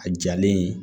A jalen